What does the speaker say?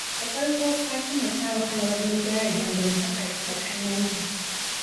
Da farko Fatima ta wahala wajen gyara dangantakarta da ƙannenta.